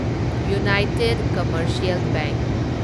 united commercial bank